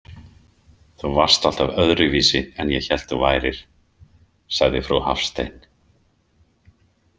Þú varst alltaf öðruvísi en ég hélt þú værir, sagði frú Hafstein.